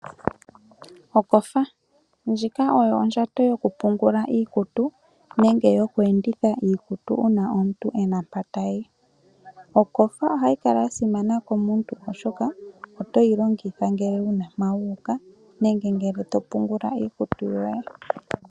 Okofa, ndjika oyo ondjato yokupungula iikutu nenge yoku enditha iikutu uuna omuntu ena mpa tayi. Okofa ohayi kala yasimana komuntu oshoka otoyi longitha uuna wuna mpa wuuka nenge topungula iikutu yoye.